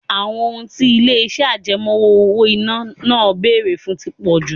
Àwọn ohun tí ilé-ìṣẹ́ àjẹmọ́ owó-ìná náà ń bèrè fún tí pọ̀ jù.